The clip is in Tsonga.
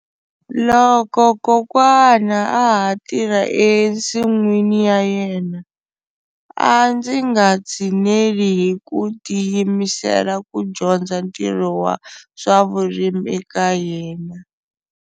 Loko kokwana a ha tirha ensin'wini ya yena a ndzi nga tshineli hi ku tiyimisela ku dyondza ntirho wa swa vurimi eka yena.